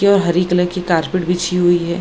केवल हरी कलर की कारपेट बिछी हुई है।